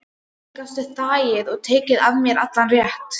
Hvernig gastu þagað og tekið af mér allan rétt?